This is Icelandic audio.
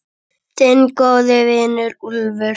Þinn góði vinur, Úlfur.